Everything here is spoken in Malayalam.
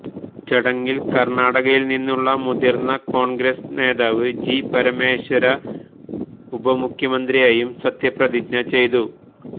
ചടങ്ങില് കര്ണാടകയില് നിന്നുള്ള മുതിര്ന്ന കോണ്ഗ്രസ് നേതാവ് ജി പരമേശ്വര ഉപമുഖ്യമന്ത്രിയായും സത്യപ്രതിജ്ഞ ചെയ്തു